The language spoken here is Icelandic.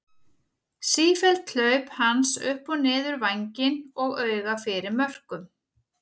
Sífelld hlaup hans upp og niður vænginn og auga fyrir mörkum.